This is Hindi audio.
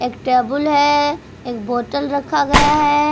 एक टेबुल है एक बोतल रखा गया है।